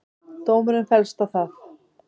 Dómurinn féllst á það.